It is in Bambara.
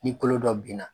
Ni kolo dɔ binna